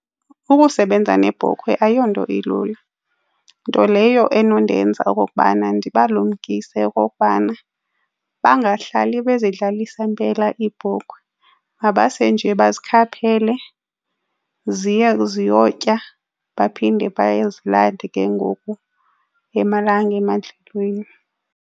Ukusebenza nebhokhwe ayonto ilula, nto leyo enondenza okokubana ndibalumkise okokubana bangahlali bezidlalisa mpela iibhokhwe. Mabase nje bazikhaphele ziya ziyotya baphinde bayozilanda ke ngoku emalanga emadlelweni.